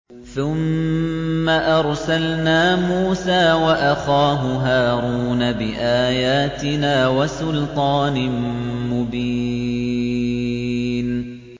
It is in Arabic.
ثُمَّ أَرْسَلْنَا مُوسَىٰ وَأَخَاهُ هَارُونَ بِآيَاتِنَا وَسُلْطَانٍ مُّبِينٍ